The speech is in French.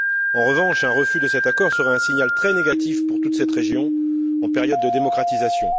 En revanche, un refus de cet accord serait un signal très négatif pour toute cette région, en période de démocratisation.